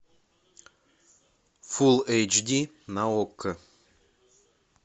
фулл эйч ди на окко